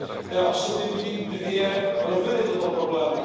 Já osobně vidím dvě roviny tohoto problému.